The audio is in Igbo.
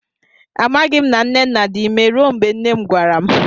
A maghi m na nnenna dị imé rue mgbe nne m gwara m